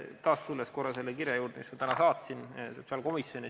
Taas tulen korra selle kirja juurde, mille ma täna saatsin sotsiaalkomisjoni.